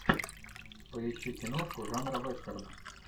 поищи киношку жанра вестерна